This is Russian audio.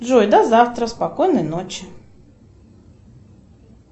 джой до завтра спокойной ночи